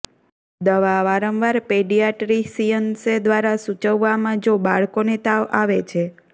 દવા વારંવાર પેડિયાટ્રીસિયન્સે દ્વારા સૂચવવામાં જો બાળકોને તાવ આવે છે